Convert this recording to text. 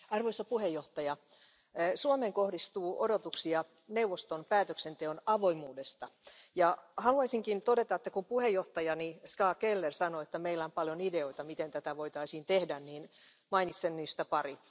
Arvoisa puhemies, Suomeen kohdistuu odotuksia neuvoston päätöksenteon avoimuudesta, ja haluaisinkin todeta, että kun puheenjohtajani Ska Keller sanoi, että meillä on paljon ideoita, miten tätä voitaisiin tehdä, niin mainitsen niistä pari.